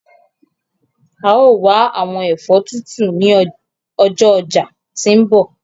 A yóò wa awọn ẹfọ tutu ni ọjọ ọja ti nbọ